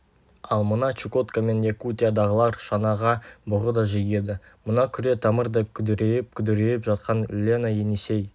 ал мына чукотка мен якутиядағылар шанаға бұғы да жегеді мына күре тамырдай күдірейіп-күдірейіп жатқан лена енисей